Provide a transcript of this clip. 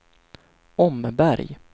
Åmmeberg